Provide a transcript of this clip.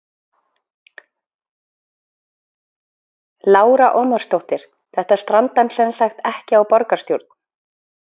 Lára Ómarsdóttir: Þetta strandar semsagt ekki á borgarstjórn?